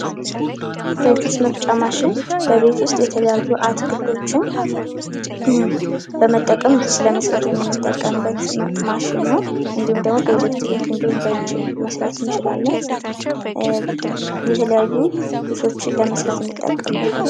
የጁስ መፍጫ ማሽን በቤት ውስጥ የተለያዩ አትክልቶችን በመጠቀም ጁስ ለመስራት የምንጠቀምበት ማሽን ነው። ኢትዮጵያ ውስጥ በኤሌክትሪክ እንድሁም በእጅ መስራት እንችላለን። የተለያዩ ጆሶችን ለመስራት እንጠቀምበታለን።